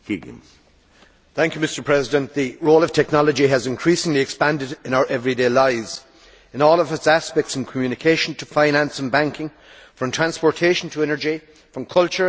Mr President, the role of technology has increasingly expanded in our everyday lives in all of its aspects, from communication to finance and banking, from transportation to energy, from culture and entertainment to health.